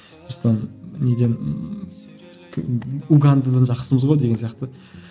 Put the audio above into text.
неден угандадан жақсымыз ғой деген сияқты